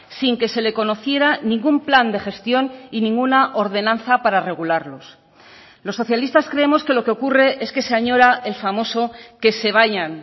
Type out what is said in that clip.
sin que se le conociera ningún plan de gestión y ninguna ordenanza para regularlos los socialistas creemos que lo que ocurre es que se añora el famoso que se vayan